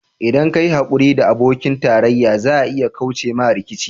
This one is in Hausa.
ldan ka yi haƙuri da abokin tarayya za a iya kauce ma rikici.